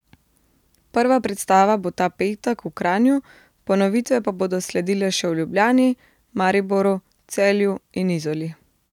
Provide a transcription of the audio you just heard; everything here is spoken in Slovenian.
Prva predstava bo ta petek v Kranju, ponovitve pa bodo sledile še v Ljubljani, Mariboru, Celju in Izoli.